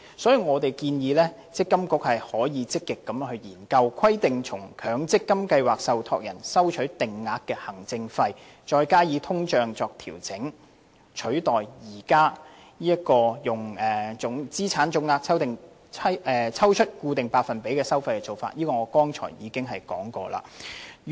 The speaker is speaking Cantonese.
因此，我們建議積金局可以積極研究規定向強積金計劃受託人收取定額行政費，再加上通脹作調整，取代現時從資產總值抽取固定百分比作為收費的做法，而我剛才亦已談及這一點。